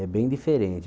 É bem diferente.